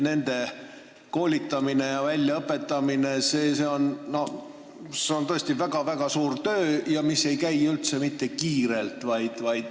Nende õpetajate koolitamine ja väljaõpetamine on tõesti väga-väga suur töö, mis ei käi üldse mitte kiirelt.